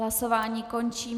Hlasování končím.